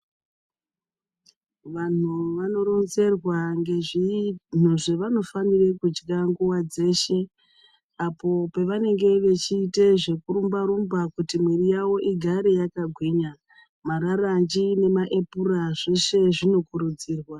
Vanhu vanoronzerwa ngezvinhu zvavanofanire kutya nguwa dzeshe apo pavanenge vechiita zvekurumba rumba kuti muiri yavo igare yakagwinya. Mararanji nemaepura zveshe zvinokurudzirwa.